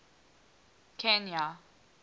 kenya